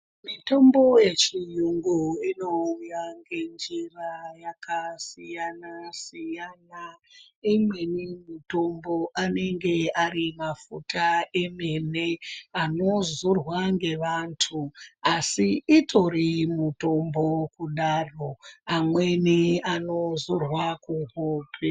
Mitombo yechiyungu inouya ngenjira yakasiyana siyana imweni mitombo anenge ari mafuta emene anodzorwa ngeantu utori mutombo amweni anozorwe kuhope.